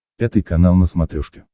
пятый канал на смотрешке